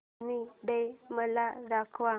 army day मला दाखव